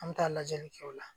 An bɛ taa lajɛli kɛ o la